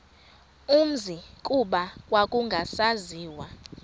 umzi kuba kwakungasaziwa